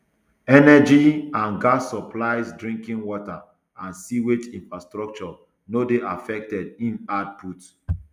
energy and gas supplies drinking water and sewage infrastructure no dey affected im add put